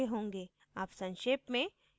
अब संक्षेप में